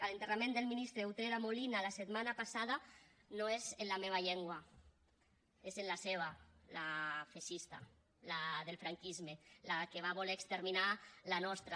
a l’enterrament del ministre utrera molina la setmana passada no és en la meva llengua és en la seva la feixista la del franquisme la que va voler exterminar la nostra